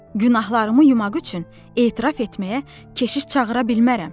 Günahlarımı yumaq üçün etiraf etməyə keşiş çağıra bilmərəm.